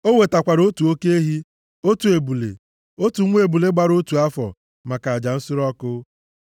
O wetakwara otu oke ehi, otu ebule, otu nwa ebule gbara otu afọ maka aja nsure ọkụ.